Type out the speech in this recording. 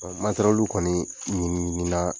matɛrɛliw kɔni ɲiniɲinina